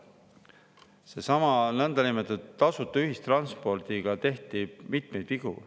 Sellesama niinimetatud tasuta ühistranspordiga tehti mitmeid vigu.